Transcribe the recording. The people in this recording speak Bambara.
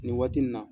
Nin waati nin na